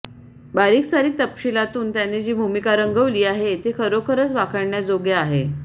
बारीकसारीक तपशीलांतून त्याने जी भूमिका रंगवली आहे ते खरोखरच वाखाणण्याजोगं आहे